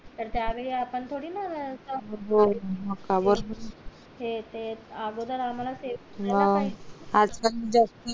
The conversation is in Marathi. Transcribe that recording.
तर त्या वेळी आपण थोडी ना हे ते अगोदर आम्हला सेव